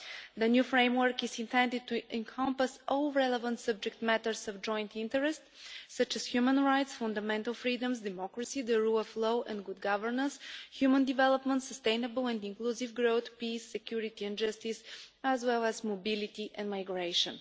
The new framework is intended to encompass all relevant matters of joint interest, such as human rights, fundamental freedoms, democracy, the rule of law and good governance, human development, sustainable and inclusive growth, peace, security and justice, as well as mobility and migration.